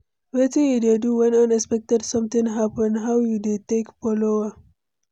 wetin you dey do when unexpected something happen, how you dey take follow am?